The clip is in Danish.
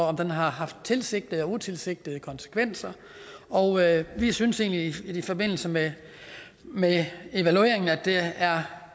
om den har haft tilsigtede eller utilsigtede konsekvenser og vi synes egentlig i forbindelse med med evalueringen at der er